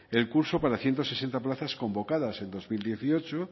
el curso para ciento sesenta plazas convocadas en dos mil dieciocho